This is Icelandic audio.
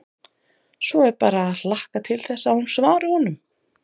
Svo er bara að hlakka til þess að hún svari honum.